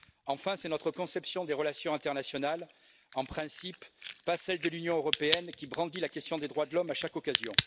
Enfin, c'est notre conception des relations internationales, en principe, pas celle de l'Union européenne qui brandit la question des droits de l'homme à chaque occasion.